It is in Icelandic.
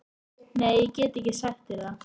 Nei, ég get ekki sagt þér það